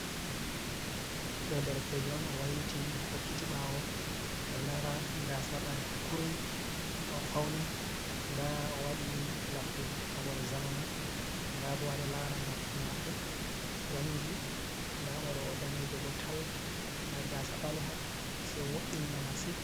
Do derekejo on o wailiti o hokkiti bawo ado ndara gasa ɓale ha kurum ka o fauni da o wadi labol zamanu dabo ado lara noppi mako wangi da mo do o danejo bo tal da gasa baleha se wo’ini mo massin.